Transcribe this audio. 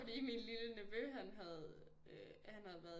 Fordi min lille nevø han havde øh han havde været